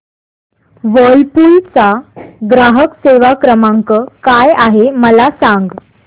Whirlpool चा ग्राहक सेवा क्रमांक काय आहे मला सांग